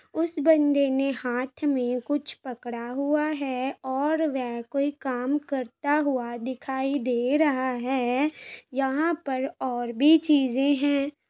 उस बन्दे ने हाथ में कुछ पकड़ा हुआ है और वह कोई काम करता हुआ दिखाई दे रहा है। यहां पर और भी चीजें हैं।